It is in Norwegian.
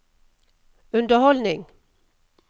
underholdning